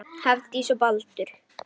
Lífi er lokið.